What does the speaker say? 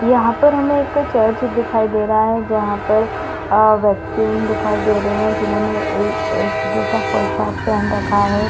यहाँ पर हमें एक ठो चर्च दिखाई दे रहा है जहाँ पर आ व्यक्ति मन दिखाई दे रहा है जिन्होंने ए एक जैसा पोशाक पेहन रखा है।